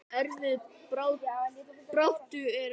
Erfiðri baráttu er lokið.